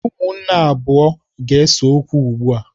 Ụmụnne abụọ ga-ese okwu ugbu a.